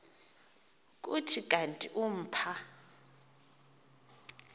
kuthi kanti umpha